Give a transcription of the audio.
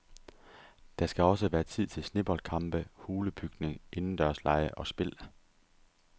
Der skal også være tid til sneboldkampe, hulebygning, indendørslege og spil.